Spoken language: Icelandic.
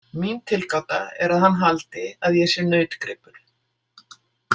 Mín tilgáta er að hann haldi að ég sé nautgripur.